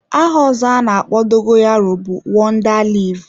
Aha ọzọ ana-akpọ dogoyaro bụ wonda leaf.